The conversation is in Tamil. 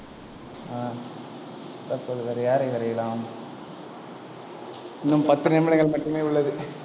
ஆஹ் தற்போது வேறு யாரை வரையலாம் இன்னும் பத்து நிமிடங்கள் மட்டுமே உள்ளது.